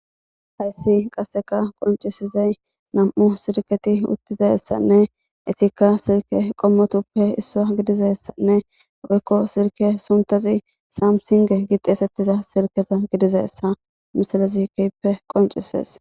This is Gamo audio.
Hayssi qasseka qoncisizay nam7u sirketi uttizayssanne etikka sirke qommotuppe issa gidizayessanne woykko sirke suntazi saamsinge gixeesettiza sirkeza gidizayessa misalazikeppe qoncisees.